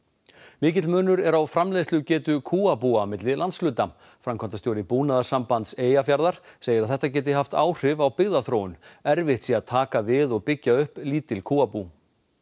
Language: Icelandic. mikill munur er á framleiðslugetu kúabúa milli landshluta framkvæmdastjóri Búnaðarsambands Eyjafjarðar segir að þetta geti haft áhrif á byggðaþróun erfitt sé að taka við og byggja upp lítil kúabú